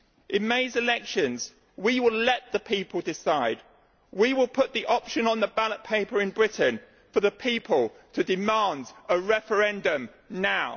In May's elections we will let the people decide. We will put the option on the ballot paper in Britain for the people to demand a referendum now.